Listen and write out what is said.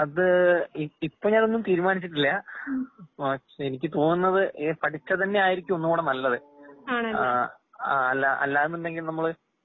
അത് ഇ ഇപ്പഞാനൊന്നും തീരുമാനിച്ചിട്ടില്ലാ. എനിക്ക് തോന്നുന്നത് എ പഠിച്ചതന്നെയാരിക്കും ഒന്നുങ്ങൂടെ നല്ലത്. ആഹ് അല്ല അല്ലാന്നുണ്ടെങ്കിൽ നമ്മള്